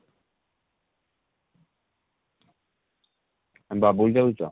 ବବୁଲ ଯାଉଛ?